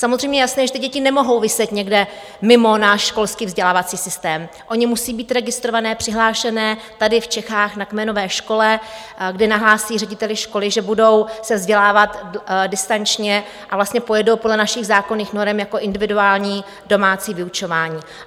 Samozřejmě je jasné, že ty děti nemohou viset někde mimo náš školský vzdělávací systém, ony musí být registrované, přihlášené tady v Čechách na kmenové škole, kde nahlásí řediteli školy, že budou se vzdělávat distančně, a vlastně pojedou podle našich zákonných norem jako individuální domácí vyučování.